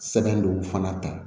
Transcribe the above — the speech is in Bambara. Sɛbɛn dɔw fana ta